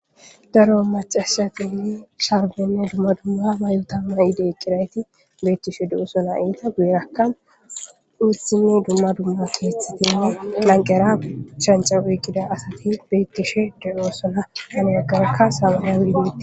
daro macashati i sharbinne dumma dumma may7uta may7ide cirayti beettishe du7usona iita guyerakkan uursinne dumma dumma keeththatinne lanqera shanca wikkida asati beettishe deoosona hanagarka samana widindite